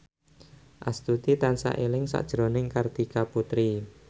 Astuti tansah eling sakjroning Kartika Putri